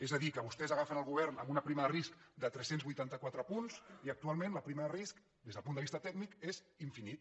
és a dir que vostès agafen el govern amb una prima de risc de tres cents i vuitanta quatre punts i actualment la prima de risc des del punt de vista tècnic és infinita